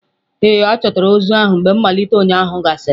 Ee, a chọtara ozu ahụ mgbe mmalite ụnyahụ gasịrị